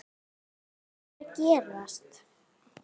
HVAÐ ER AÐ GERAST?